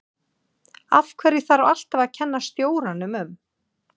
Af hverju þarf alltaf að kenna stjóranum um?